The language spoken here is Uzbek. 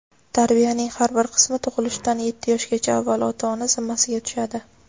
Tarbiyaning har bir qismi tug‘ilishdan yetti yoshgacha avval ota-ona zimmasiga tushadi.